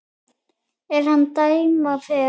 er hann dæma fer